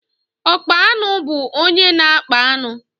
Ọkpa aṅụ bú ónyé na-akpa aṅụ.